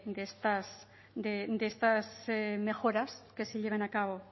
de estas mejoras que se lleven a cabo